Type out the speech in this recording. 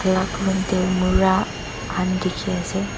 alak room te mura khan dekhi ase.